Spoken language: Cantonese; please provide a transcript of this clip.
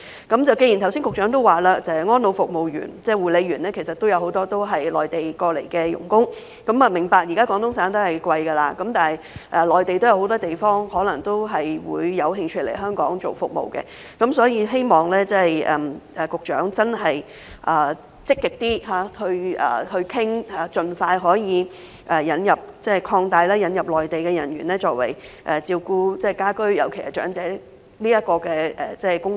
局長剛才說有很多安老院舍服務員、護理員也是內地來港的傭工，我明白現時廣東省的薪酬昂貴，但內地很多其他地方的人可能也有興趣來港提供服務，所以希望局長能更積極商討，可以盡快擴大範圍以引入更多內地人員從事家居，尤其是照顧長者的工作。